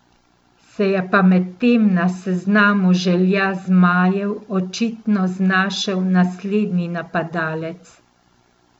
Se je pa medtem na seznamu želja zmajev očitno znašel naslednji napadalec.